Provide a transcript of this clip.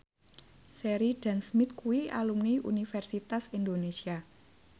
Sheridan Smith kuwi alumni Universitas Indonesia